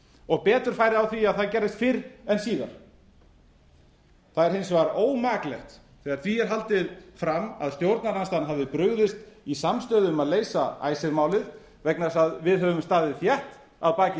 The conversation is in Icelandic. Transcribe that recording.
og betur færi á því að það gerðist fyrr en síðar það er hins vegar ómaklegt þegar því er haldið fram að stjórnarandstaðan hafi brugðist í samstöðu um að leysa icesave málið vegna þess að við höfum staðið þétt að baki